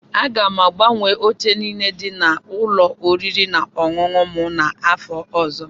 Aga m agbanwe oche niile dị n'ụlọ oriri na ọṅụṅụ m n'afọ ọzọ.